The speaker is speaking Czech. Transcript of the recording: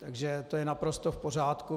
Takže to je naprosto v pořádku.